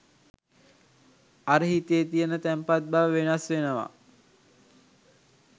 අර හිතේ තියෙන තැන්පත් බව වෙනස් වෙනවා.